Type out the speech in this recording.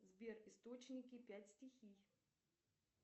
сбер источники пять стихий